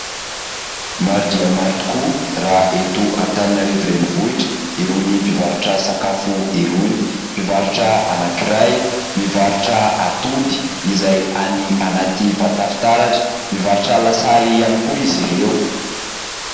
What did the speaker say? Maro dia maro tokoa raha eto Antananarivo renivohitra irony mpivarotra sakafo irony. Mpivarotra anankiray mivarotra atody izay any anaty vata fitaratra, mivarotra lasary ihany koa izy ireo.